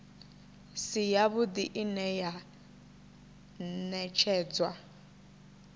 si yavhuḓi ine ya ṅetshedzwa